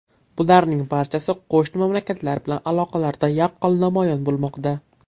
Bularning barchasi qo‘shni mamlakatlar bilan aloqalarda yaqqol namoyon bo‘lmoqda.